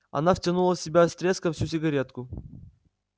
она втянула в себя с треском всю сигаретку